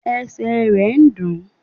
Esè re n dùn ún